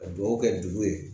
Ka dugawu kɛ dugu ye